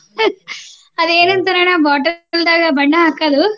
ಅದೇನಂತಾರಣ್ಣಾ bottle ದಾಗ ಬಣ್ಣ ಹಾಕದು.